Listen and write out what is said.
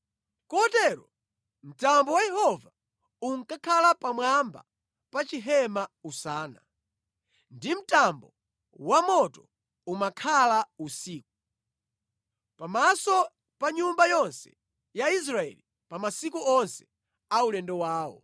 Kotero mtambo wa Yehova unkakhala pamwamba pa chihema usana, ndi mtambo wamoto umakhala usiku, pamaso pa nyumba yonse ya Israeli pa masiku onse aulendo wawo.